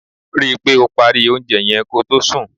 Rí i pé o parí oúnjẹ yẹn ko tó sùn.